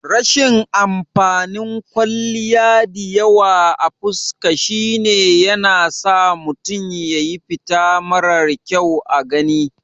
Rashin amfanin kwalliya diyawa a fuska shine yanasa mutum ya yi fita marar kyau a gani